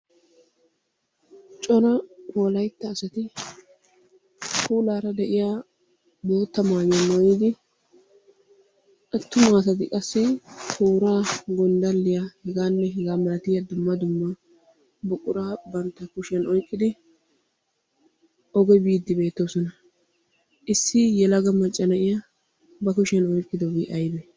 Cora wolaytta asati puulaara de'iya bootta mayuwa mayidi attuma asati qassi tooraa gonddalliya hegaanne hegaa malatiya dumma dumma buquraa bantta kushiyan oyiqqidi oge biiddi beettoosona. Issi yelaga macca na'iya ba kushiyan oyiqqidobi ayibee?